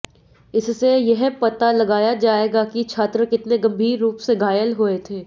इससे यह पता लगाया जाएगा कि छात्र कितने गंभीर रूप से घायल हुए थे